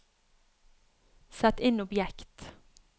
sett inn objekt